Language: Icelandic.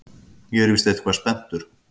Ég er víst eitthvað spenntur.